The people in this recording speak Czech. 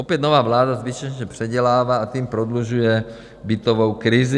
Opět, nová vláda zbytečně předělává a tím prodlužuje bytovou krizi.